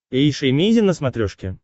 эйша эмейзин на смотрешке